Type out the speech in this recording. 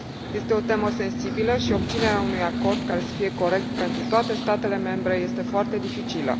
Este o temă sensibilă, iar obținerea unui acord care să fie corect pentru toate statele membre este foarte dificilă.